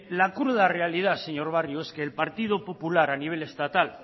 la cruda realidad señor barrio es que el partido popular a nivel estatal